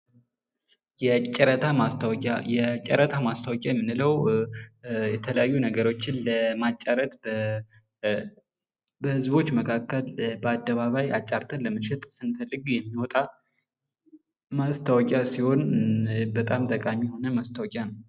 የጨረታ ማስታወቂያ የጨረታ ማስታወቂያ የምንለው የተለያዩ ነገሮችን ለማጫረት በህዝቦች መካከል በአደባባይ አጫርተን ለመሸጥ ስንፈልግ የሚወጣ ማስታወቂያ ሲሆን በጣም ጠቃሚ የሆነ ማስታወቂያ ነው።